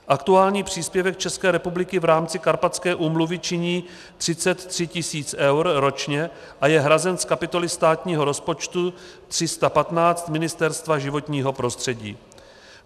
Aktuální příspěvek České republiky v rámci Karpatské úmluvy činí 33 000 eur ročně a je hrazen z kapitoly státního rozpočtu 315 Ministerstva životního prostředí.